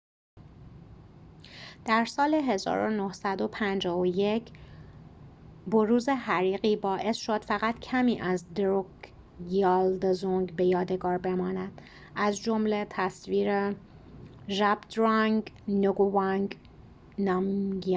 در سال ۱۹۵۱ بروز حریقی باعث شد فقط کمی از دروکگیال دزونگ به یادگار بماند از جمله تصویر zhabdrung ngawang namgyal